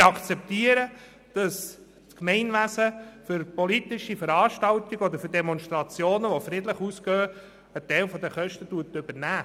Wir akzeptieren, dass das Gemeinwesen für politische Veranstaltungen, für Demonstrationen, die friedlich ausgehen, einen Teil der Kosten übernimmt.